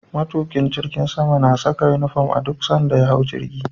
Matukin jirgi na Saka inufom a duk sanda ze hau jirgi